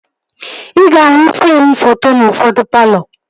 Ị ga-ahụ freem foto n'ufodu palọ